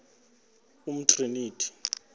umtriniti